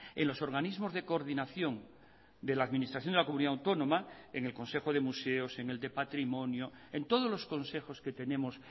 en los organismos de coordinación de la administración de la comunidad autónoma en el consejo de museos en el de patrimonio en todos los consejos que tenemos